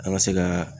An ka se ka